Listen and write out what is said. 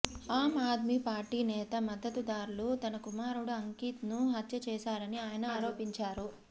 ఆమ్ Aadmi party నేత మద్దతుదారులు తన కుమారుడు అంకిత్ ను హత్య చేశారని ఆయన ఆరోపించారు